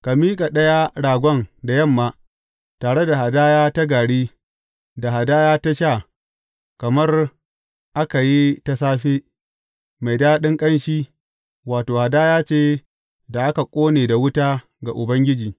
Ka miƙa ɗaya ragon da yamma, tare da hadaya ta gari da hadaya ta sha kamar aka yi ta safe, mai daɗin ƙanshi, wato, hadaya ce da aka ƙone da wuta ga Ubangiji.